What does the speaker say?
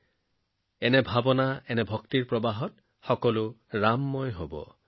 এই সংকলনে এনে এক চিন্তাভক্তিৰ সোঁত সৃষ্টি কৰিব যে ইয়াক স্পৰ্শ কৰি সকলোৱে ৰামময় হৈ পৰিব